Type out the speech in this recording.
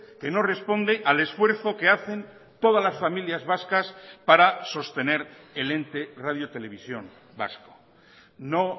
que no responde al esfuerzo que hacen todas las familias vascas para sostener el ente radio televisión vasco no